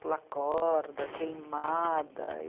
Pula-corda, queimada.